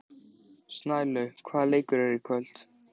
Snælaug, hvaða leikir eru í kvöld?